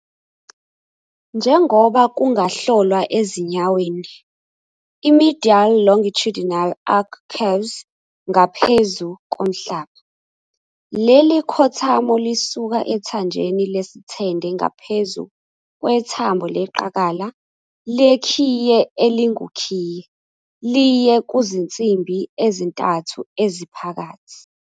Njengoba kungahlolwa ezinyaweni, i-medial longitudinal arch curves ngaphezu komhlaba. Leli khothamo lisuka ethanjeni lesithende ngaphezu kwethambo leqakala "lekhiye elingukhiye" liye kuzinsimbi ezintathu eziphakathi.